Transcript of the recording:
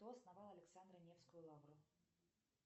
кто основал александро невскую лавру